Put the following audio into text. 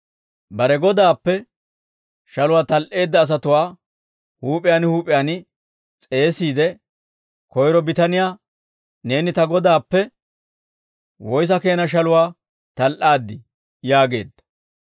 «Bare godaappe shaluwaa tal"eedda asatuwaa huup'iyaan huup'iyaan s'eesiide, koyro bitaniyaa, ‹Neeni ta godaappe woyssa keena shaluwaa tal"aaddii?› yaageedda.